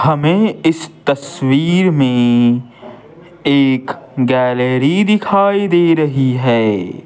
हमें इस तस्वीर में एक गैलरी दिखाई दे रही है।